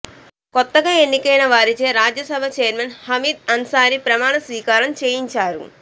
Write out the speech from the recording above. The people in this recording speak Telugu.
కొత్తగా ఎన్నికైన వారిచే రాజ్యసభ చైర్మన్ హమీద్ అన్సారీ ప్రమాణ స్వీకారం చేయించారు